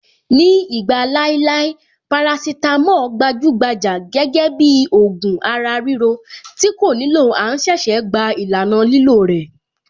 Ní ìgbà láéláé, parasítámọ̀ gbajúgbajà gẹ́gẹ́ bíi ògùn ara-ríro tí kò nílò à ń ṣẹ̀ṣẹ̀ gba ìlànà lílò rẹ̀.